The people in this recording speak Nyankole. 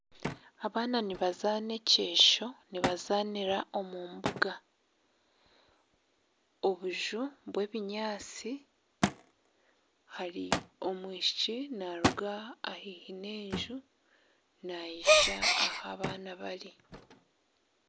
Abaana nibazaana ekyesho nibazaanira omu mbuga obunju bw'ebinyaatsi omwishiki naaruga haihi n'enju naija ahu abaana bari.